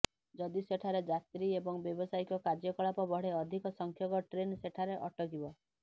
ଯଦି ସେଠାରେ ଯାତ୍ରୀ ଏବଂ ବ୍ୟାବସାୟିକ କାର୍ଯ୍ୟକଳାପ ବଢ଼େ ଅଧିକ ସଂଖ୍ୟକ ଟ୍ରେନ୍ ସେଠାରେ ଅଟକିବ